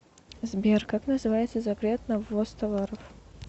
сбер как называется запрет на ввоз товаров